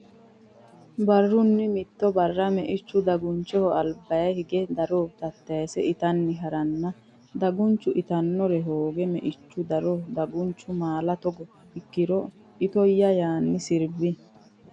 Barrunni mitto barra meichu dagunchoho albaa hige daro tattayse itanni ha ranna dagunchu itannore hooge Meichu daro Dagunchu maala Togo ikkiro ani itoyya yaanni sirbi.